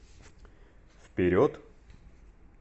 вперед